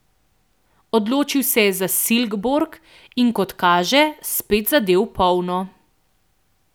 Odločil se je za Silkeborg in, kot kaže, spet zadel v polno.